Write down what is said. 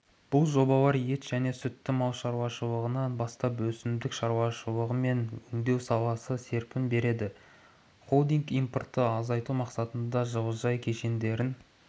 бұл жобалар ет және сүтті мал шаруашылығынан бастап өсімдік шаруашылығы мен өңдеу саласына серпін береді холдинг импортты азайту мақсатында жылыжай кешендерін